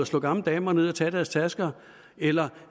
slå gamle damer ned og tage deres tasker eller